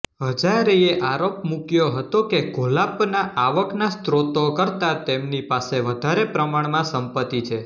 હજારેએ આરોપ મુક્યો હતો કે ઘોલાપના આવકના સ્ત્રોતો કરતાં તેમની પાસે વધારે પ્રમાણમાં સંપતિ છે